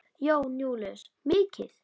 Jón Júlíus: Mikið?